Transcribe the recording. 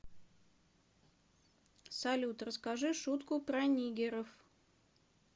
салют расскажи шутку про нигеров